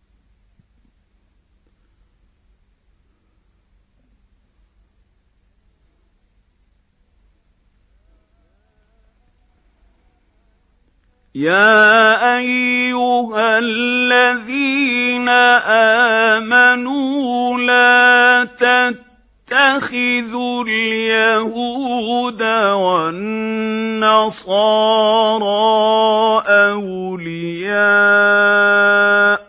۞ يَا أَيُّهَا الَّذِينَ آمَنُوا لَا تَتَّخِذُوا الْيَهُودَ وَالنَّصَارَىٰ أَوْلِيَاءَ ۘ